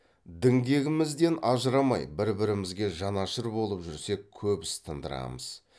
діңгегімізден ажырамай бір бірімізге жанашыр болып жүрсек көп іс тындырамыз